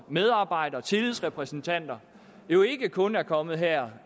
medarbejdere og tillidsrepræsentanter ikke kun er kommet her